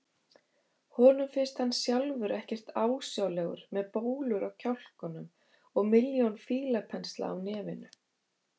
Honum finnst hann sjálfur ekkert ásjálegur með bólur á kjálkunum og milljón fílapensla á nefinu.